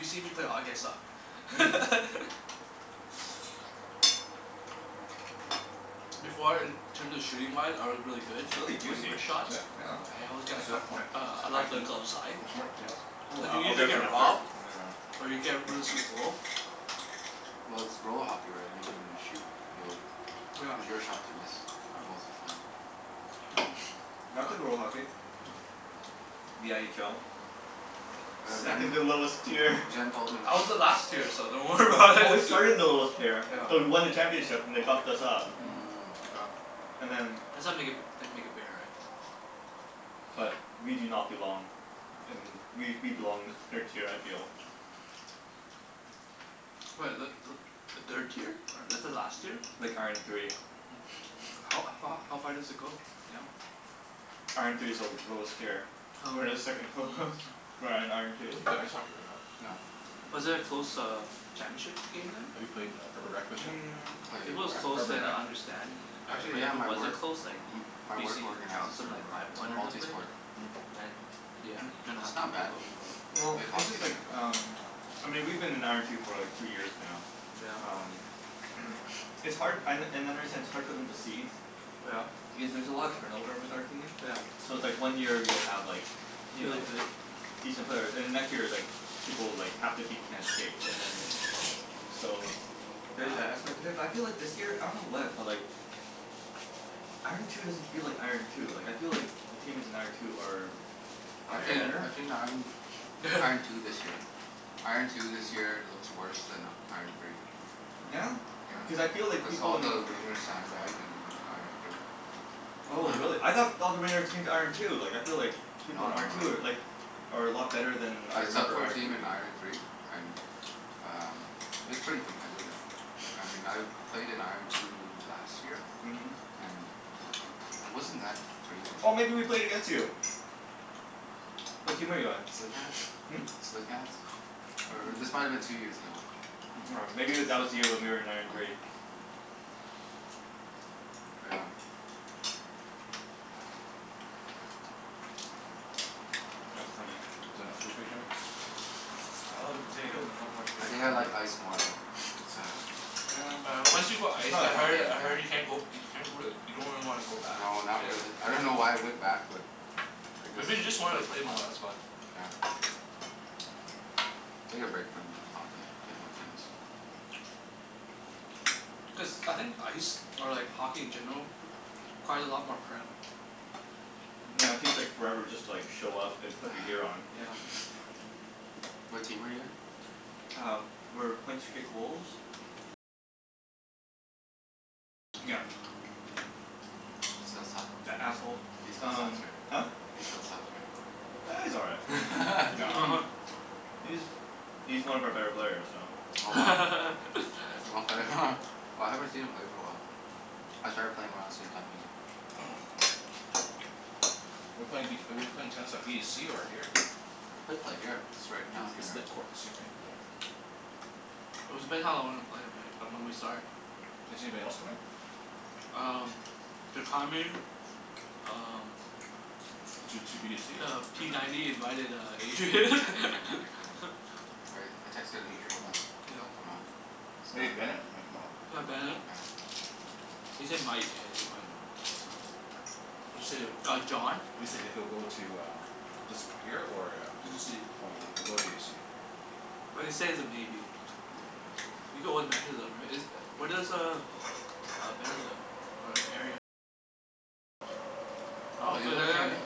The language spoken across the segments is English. if you see me play hockey I Mm. suck. Before in terms of shooting-wise I was really good It's really like juicy. wrist shots? Yeah? Yeah. I always got a It's a a coup- it's uh high glove the heat. glove side. Want some more potatoes? Oh, Did I you I'll usually get some get after, robbed? Mhm. Or you nyeah, get rid of finish this. some goal? Well, it's roll hockey, right? If you can shoot you'll Yeah. it was your shot to miss, most of the time. Yeah. I play roll hockey. No. Yeah. The n h l. Yeah, Second to Yeah. lowest tier. Jen Jen told me. I was the last tier, so don't worry Oh, about but we it. started in the lowest tier Jen but told we me. won the Yeah. championship and they bumped us up. Mm. Mm. Wow. And then That's how make it f- they make it fair, right? but we do not belong in, we we belong in the third tier I feel. What, is that Mm. th- the third tier? This is last year? Like, iron three. Mm. How a f- h- how far does it go down? Iron three is the l- lowest tier. Oh. Oh. We're the second h- lowest. We're at iron two. You play ice hockey, right Alan? Yeah. Was Mm. it a close uh championship game then? Have you played in a Mm. If it Played was where? close Urban then Rec? I understand yeah, right? Actually But if yeah, it my wasn't work close like m- my work BC organizes trounced them Urban like Rec. five one or Multi something? Mm. sport. Mm. Then yeah, you kinda It's have not to bad. Well, Played it's hockey just like there. um I mean we've been in iron two for like two years now. Yeah? Um It's hard an- and I understand it's hard for them to cede Yeah. because there's a lot of turnover with our team. Yeah. So it's like one year you'll have like you Really know, good? decent players. And the next year it's like people, like half the team can't skate, and then So there's that aspect of it. But I feel like this year, I don't know what, but like Mhm. iron two doesn't feel like iron two. Like I feel like the teams in iron two are are I've seen better. I've seen iron iron two this year. Iron two this year looks worse than iron three. Yeah? Yeah. Cuz I feel like Cuz people all in the wringers sand-bagged and went to iron three. Oh really? I thought all the ringers came to iron two. Like I feel like No people in no no iron two are no, yeah. like are a lot better than I I subbed remember for a iron three team in being. iron three and um it was pretty competitive. I mean I've played in iron two last year. Mhm. And it wasn't that crazy. Oh, maybe we played against you? What team are you on? Slick hands. Hmm? Slick hands. Or or this might have been two years ago. M- aw Hmm. maybe Slick w- hands? that Oh. was the year when we were in iron three. Yeah. That's funny. Is it enough food for you, Jimmy? I love the potatoes. I want more I potatoes. think I Mm. like ice more though. Cuz uh Yeah, Yeah, once it's you go ice it's not as I different heard I game, heard you yeah. can't go you can't really, you don't really wanna go back. No, not really. I don't know why I Yeah. went back but I guess Maybe you just just to wanted play to for play fun. more, that's why. Yeah. Take a break from hockey. Played more tennis. Mm. Cuz, I think ice or like hockey in general requires a lot more prep. Yeah, it Mm. takes like forever just to like show up and put your gear on. Yeah. What team are you in? Uh, we're Point Streak Wolves. Still suck? That asshole. He still sucks, Um right? Huh? He still sucks, right? Ah, he's all right. No. Mhm. He's he's one of our better players, so Oh, wow. Okay. Well, I haven't seen him play for a while. I started playing around the same time he did. We're playing v- we're playing tennis by b to c or here? Could play here. It's right down here, It's lit right? courts too, right? It was depending how long we play, right? Or when we start. Is anybody else coming? Um Um Two two b to c or Uh, p ninety invited uh Yeah, Adrian. Adrian might be coming. I r- I texted him Adri- before oh. this. Yeah. He'll come out. Maybe Bennett might come out. Yeah, Oh, Bennett. Bennett. He said might. Yeah, he said might, so Mm. You said it Uh, John. You said he'll go to uh this here or a B to c. Okay, w- we'll go with b of c. But he said he's a maybe. You go with right? Is u- where Mm. does uh uh Bennett live? Hmm? Oh, he lives near me?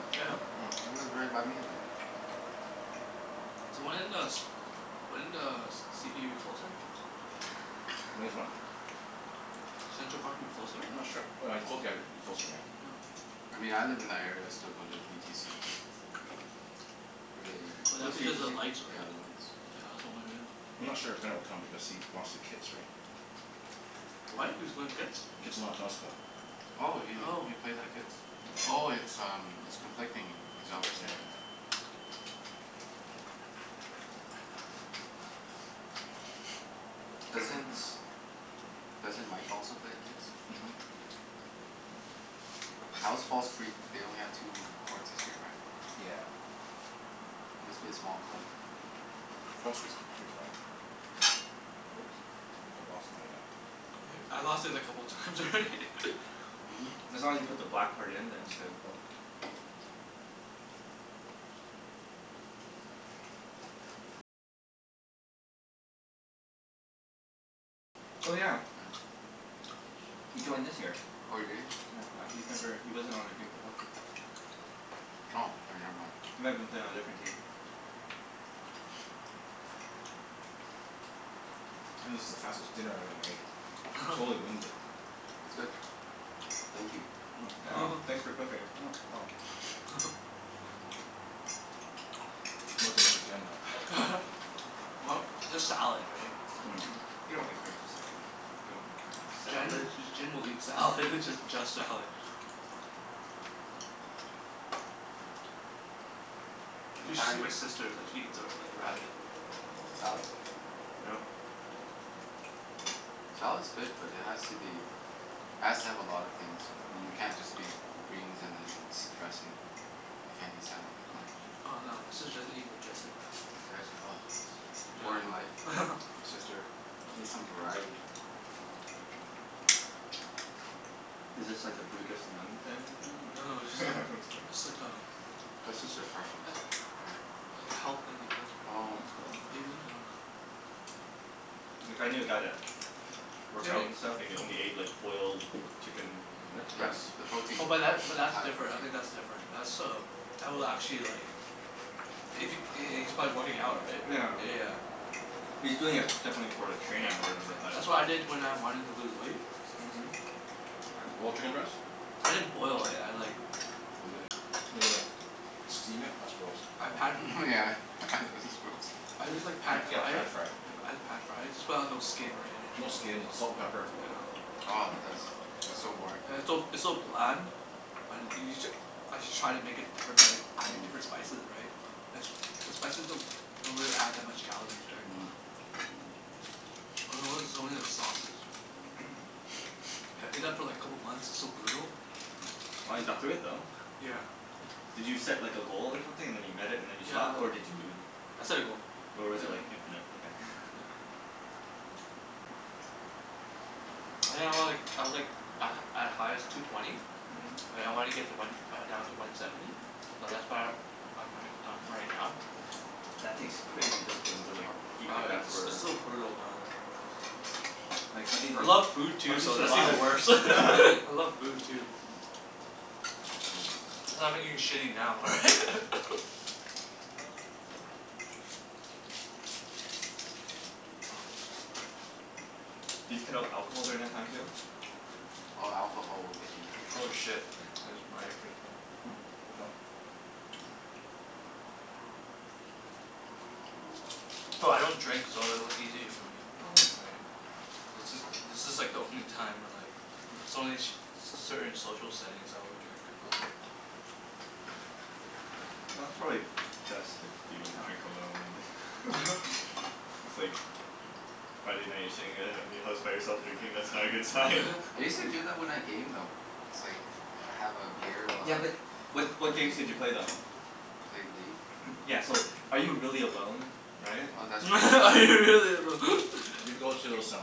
He lives right by me then. So when does when does c p u closer? Mm. When is what? I'm Central Park move closer? not sure. W- w cl- yeah, like it'd be closer, yeah. Yeah. I mean I live in that area, I still go to v t c. Really. But that's What's v t because of c? lights, Yeah, right? the lights. Yeah, that's the only reason. I'm not sure if Ben will come because he lost to Kits, right? What? He was going to Kits? Kitsilano Tennis Club. Oh, he Oh. he plays at Kits? Oh, Yeah. it's um it's conflicting. Is that what Yep, you're yeah, saying? yeah. Doesn't doesn't Mike also play at Kits? Mhm. How is False Creek? They only have two courts this year, right? Yeah. Must be a small club. False Creek's pretty small. Oops. I think I lost my uh E- I lost it a couple times already. Mhm. As long as you put the black part in then it's good. Mm. Yeah. Oh yeah. Yeah. He joined this year. Oh, did he? Yeah. Uh he's never, he wasn't on our team before. Oh, k never mind. He might have been playing on a different team. This is the fastest dinner I ever made. Totally winged it. It's good. Thank you. Mm. Yeah. You're welcome. Thanks for cooking. Mm. No dinner for Jen, though. Well, there's salad, right? Mhm. You don't make friends with salad. You don't make friends with Jen salad. J- Jen will eat salad. Just just salad. Hmm. What You should see my time sister is like, she eats a like a rabbit. Salad? Salad's good, but it has to be has to have a lot of things. Yeah. It Mm. can't just be g- greens and then s- dressing. I can't eat salad like Oh that. yeah. Oh, no, my sister doesn't eat with dressing. Yeah, sh- ah. Boring life, Yeah. your sister. She needs some variety. Is this like a Buddhist nun family thing, Mm. Mm. No no, it's or? like Just it's like a kidding. That's just her preference, a- right? like health thing ahe- Well Oh. that's cool. maybe? I dunno. Like I knew a guy that Same worked out and stuff, and he only ate like i- boiled chicken mm Yep, breast. the Really? protein. Oh The but that but that's high different. I protein. think that's different. That's um that will actually like if he h- h- he's probably working out, right? Yeah. Yeah, yeah. He's Yeah. doing it definitely for like Yeah, training or yeah. whatever, but That's what I did when I wanted to lose weight. Mhm. Boiled chicken breast? Right. I didn't boil it, I like Maybe like made it like steam it? That's gross. I Um pan Myeah, this is gross. I just like Pa- pan yeah, fried it. pan-fry it. Yep, I just pan fried. Just put out no skin or No anything, yeah. skin. Salt and pepper. Yeah. Oh, that's that's so boring. It's so it's so bland. But you you j- as you try to make it different by adding different spices, right? The s- the spices don't don't really add that much calories, right? Mhm. I notice it's only Mhm. the sauces. I did that for like a couple months. It's so brutal. Wow, you got through it though. Yeah. Yeah. Did you set like a goal or something, and then you met it and then you Yeah stopped? I Or did you I set a goal. or Yeah, was I it ho- like, infinite? Okay. yeah. I think I was like, I was like a at highest, two twenty. And I wanna get to one uh down to one seventy. Mhm. So that's where I'm ri- I'm right now. That takes crazy discipline to like eat Yeah, like that it's s- for it's so brutal, man. Like how did I you, love food how too, did you so that's even survive? worse. I love food, too. Mm. I'm gonna move the salad Cuz I'm now. not Oh. eating shitty now, right? Did you cut out alcohol during that time too? Hmm? Oh, alcohol will get you for Oh sure. shit, I jus- my earpiece fell off. No, I don't drink so it was easy for me. Okay. Right? This is, this is like the only time where like It's only in sh- c- certain social settings I will drink a little bit. Well, that's probably best if you don't drink alone and It's like Yeah. Friday night you're sitting at i- in your house by yourself drinking. That's not a good sign. I use to do that when I game, though. It's like, have a beer while Yeah I but what while what I game. games did you play though? Played League. Yeah so, are you really alone? Right? Oh, that's true. That's Are you really true. alone? Have you ever go to those um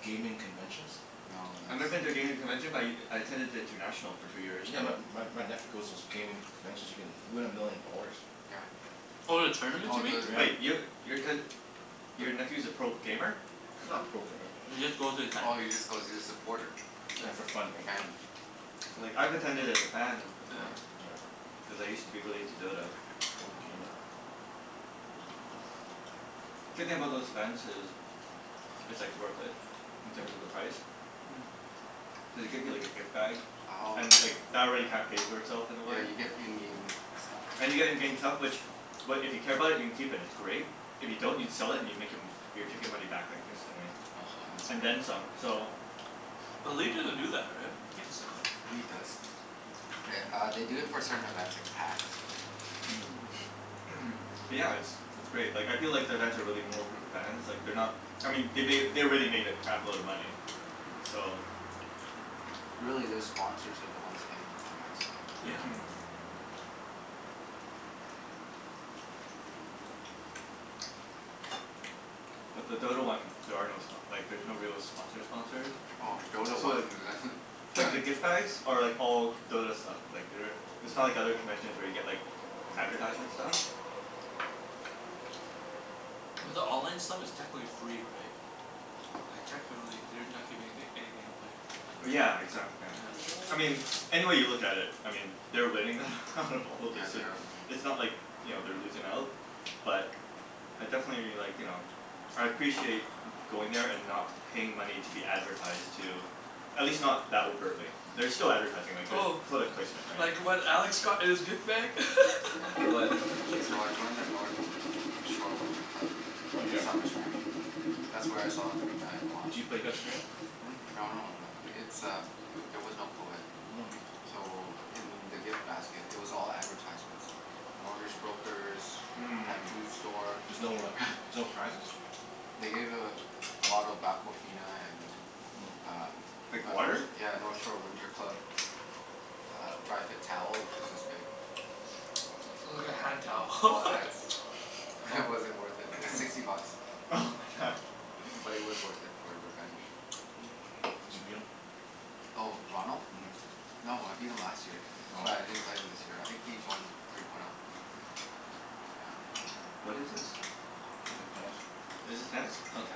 gaming conventions? No, I've never been to a that's gaming convention but y- I attended the international for two years in Yeah, a my row. my my nephew goes to those gaming conventions. You can win a million dollars. Yeah. Oh, the tournaments, Oh, you mean? the Wait, Yeah. yo- your cous- your the nephew's a pro gamer? Not a pro gamer. He just goes to attend. Oh, he just goes, he's a supporter. Yeah, for fun, right? So Fan. Like, I've attended as a fan Oh, Yeah. before. yeah. Yeah. Cuz I used to be really into Dota. Pro Mhm. gamer. Yeah. Good thing about those events is it's like Mm. worth it, in terms of the price. Cuz they give you like a gift bag, Mm. Oh, and okay. like that already kinda pays for itself in a way. Yeah, you get in-game stuff, right? And you're getting gaming stuff which, what, if you care about it you can keep, and it's great. If you don't you can sell it and you make em- your ticket money back like instantly. oh ho, that's And Mm. then great. some, so But leet doesn't do that, right? You can't sell it. League does. Th- uh, they do it for certain events, like Hacks and Mm. Mm. Mm. But Yeah. yeah, it's it's great. Like, I feel like the events are really more for the fans. Like, they're not I mean they made, they already made a crap load of money. So Really, their sponsors are the ones paying for events, so Mhm. But the Dota one, there are no spo- like there's no real sponsor sponsors. Oh. Oh, Dota So one like like the gift bags are like all Dota stuff. Like they're it's not like other conventions where you get like Yeah. advertisement stuff. Mhm. But the online stuff is technically free, right? Like technically they're not giving anyth- anything away. Mm. Yeah, exac- yeah. I Yeah. mean any way you look at it I mean they're winning out of all this Yeah, they and are winning. it's not like, you know, they're losing out. But I definitely like, you know I appreciate going there and not paying money to be advertised to. At least not that overtly. There's still advertising. Like, there's Oh. product placement, right? Like what Alex got in his gift bag? Yeah. What? What did you get? So I joined the North Shore Winter Club Oh did ya? Summer Smash. That's where I saw Corina and Ron. Do you play against Corina? Hmm? No no no, it's um eh- there was no coed. Mm. So in the gift basket it was all advertisements like mortgage brokers Mhm. pet food store. There's no uh there's no prizes? They Mm. gave a bottle of Aquafina and Mm. um Like a Nort- water? yeah, a North Shore Winter Club a uh dry fit towel, which was this big. Wow. It's like a hand towel. All ads. Wow It wasn't worth it. It was sixty bucks. oh my god. But it was worth it for revenge. Zee beetle? Oh, Ronald? Mhm. No, I beat him last year. Oh. But I didn't play him this year. I think he joined three point oh. Yeah. What is this? Hmm? T- tennis. Oh. Is Yeah, this tennis? Mm. tennis. Okay.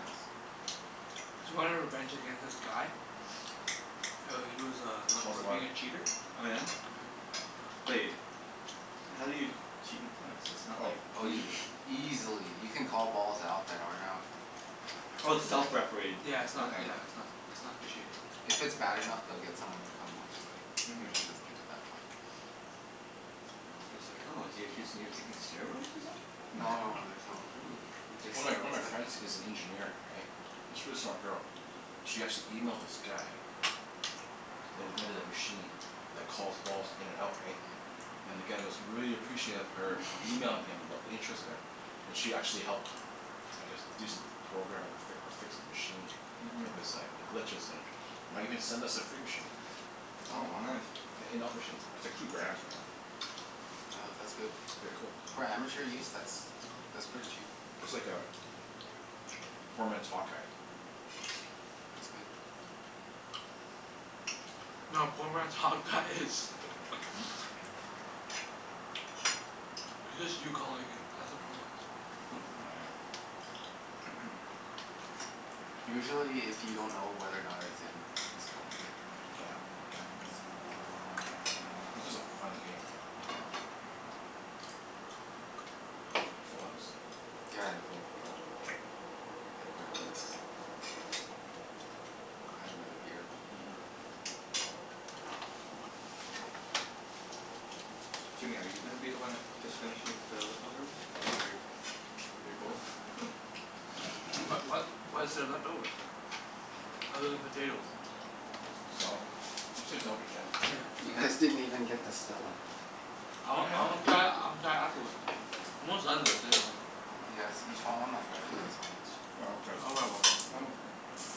Mm. Cuz you wanted revenge against this guy? Yeah, he was uh known Cold for war. being a cheater. Oh yeah? But Right? Yeah. y- how do you cheat in tennis? It's not Oh. like Oh y- Easily. easily. You can call balls out that aren't out. Oh, it's Yeah. self-refereed. Yeah, it's not Okay. yeah, it's not s- it's not officiated. If it's bad enough, they'll get someone to come watch but usually it doesn't Mhm. get to that point. I was like, "Oh, is he accusing you of taking steroids or No no something?" no, there's no, who who takes One of my one of steroids? my friends is an engineer, right? It's really smart girl. She actually emailed this guy that invented a machine that calls balls in and out, Yeah. right? And the guy goes really appreciative of her emailing him about the interest of it. And she actually helped I guess do some programming or fic- or fix the machine. Mhm. Of his like, the glitches and might even send us a free machine. Oh, Oh wow. nice. An in-out machine. It's like two grand, something like that. Oh, that's good. It'd be a cool. For amateur use? That's g- that's pretty cheap. It's like a poor man's hawk eye. Yeah. That's good. No, a poor man's hawk-eye is Hmm? It's just you calling it. That's a poor man's Hmm? Oh yeah. Usually if you don't know whether or not it's in just call it in. Oh yeah. Yeah, that's a This is a fun game, right? Yeah. You full house? Yeah, Yeah? I'm full. K. I had quite a bit. I'll have another beer though. Mhm. Jimmy, are you gonna be the one that just finishes the leftovers? Is that your your goal? What what what What is is it? there What? left over? Other than potatoes? Salad. Let's save the salad for Jen. Oh Yeah, You well Yeah. guys didn't even get to Stella. I y- want, I wanna yeah. try it, I wanna try it afterwards. I'm almost done this anyway. You guys Yeah, each want one? I'll grab you guys one each. I'll grab that I'll one. have one. I'm okay, for now. Oh.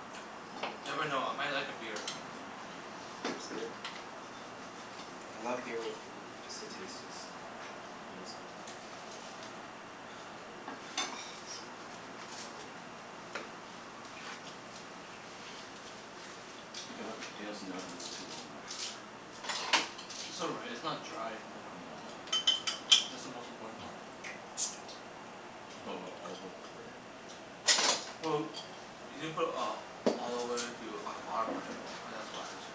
Never know. I might like a beer. Yeah, beer's good. I love beer with food. Just the taste is amazing. Oh, so I need a bottle opener. Mm. I think I left the potatoes in the oven a little too long, though. It's all right. It's not dry in the middle. No. No. That's the most important part. Put a lotta olive oil over it, right? Well, you didn't put uh olive oil too on the bottom, right? Oh, that's why it's so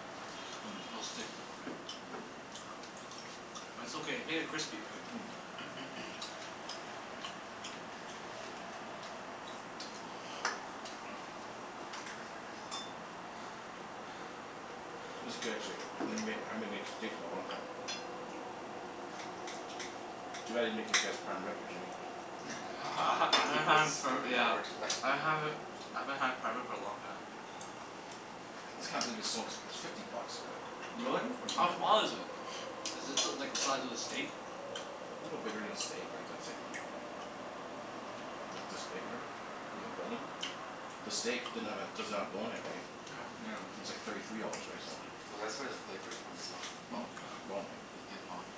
it'll stick more, right? But it's okay. It Mm. made it crispy, right? Mm. Mm. This is good, actually. I never made, I haven't m- made steaks in a long time. Too bad I didn't make you guess prime rib or Jimmy. I ha- Yeah, I ha- I think he haven't was had for looking yeah forward to that. I haven't I haven't had prime rib for a long time. I just can't believe it's so ex- it's fifty bucks for that. Really? For How Mhm. prime small rib. is it? A Is this l- like the size of a steak? little bigger than a steak, right? But it's like Maybe it's this big, whatever. With a Mm. bone. The steak didn't have a, doesn't have a bone in it, right? Yeah. It's like thirty three dollars, right? So Well that's where the Yeah. flavor's from, as well. The Hmm? bone. The bone, right? You can get boned.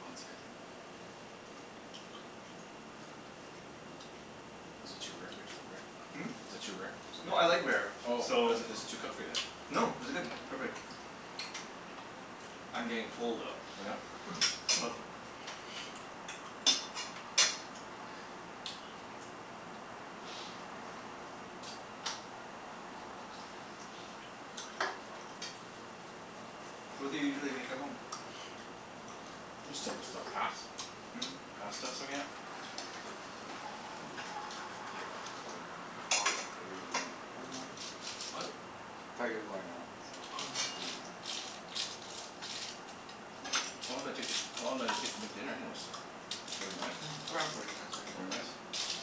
Bone's good. Is it too rare for your st- Rick? Hmm? Is it too rare? Is it No, I okay? like rare, Oh, so is it is it too Oh. cooked for you, then? No, this is good. Perfect. I'm getting full Oh yeah? though Mm. so Oh. So what do you usually make at home? Just simple stuff. Pas- Mm. Pasta s- again Mm. Here let me get out of your way. Oh, I thought you were going out. Never mind. What? Thought you were going out so Oh, I was no. gonna move. How long did it take to, how long did it take to make dinner, anyways? Forty minutes? Around forty minutes I Forty Forty think, minutes? minutes.